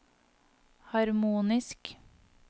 harmonisk